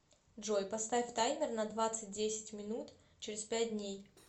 джой поставь таймер на двадцать десять минут через пять дней